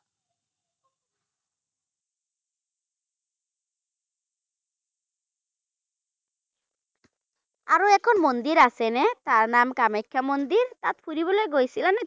এখন মন্দিৰ আছে নে, তাৰ নাম কামাখ্যা মন্দিৰ, তাত ফুৰবলে গৈছিলা নে?